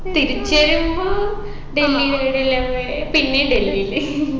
തിരിച്ച് വരുമ്പൊ ഡല്ഹിയില് എടെല്ലാ പോയെ പിന്നെയും ഡൽഹിയില്